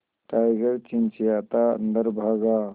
tiger चिंचिंयाता अंदर भागा